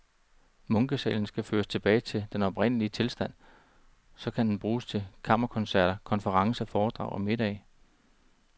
Munkesalen skal føres tilbage til den oprindelige tilstand, og så kan den bruges til kammerkoncerter, konferencer, foredrag og middage.